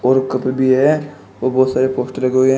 और कप भी है और बहुत सारे पोस्टर लगे हुए--